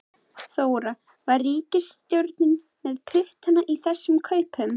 Þóra: Var ríkisstjórnin með puttana í þessum kaupum?